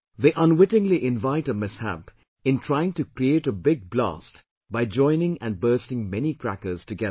They unwittingly invite a mishap in trying to create a big blast by joining and bursting many crackers together